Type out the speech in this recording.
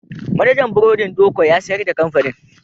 Manajan burodin Doko ya sayar da kamfanin.